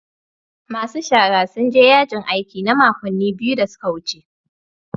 Masu shara sun je yajin aiki na makonni biyu da suka wuce.